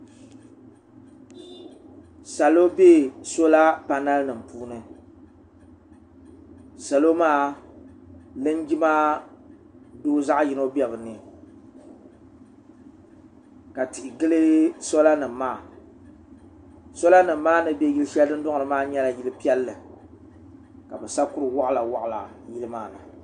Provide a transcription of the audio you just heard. salo bɛ soola panal nim puuni salo maa linjima doo zaɣ yini bɛ bi. puuni ka tihi gili soola nim maa soola nim maa ni bɛ yili shɛli dundɔŋ ni maa nyɛla yili piɛlli ka bi sa kuri waɣala waɣala yili maa ni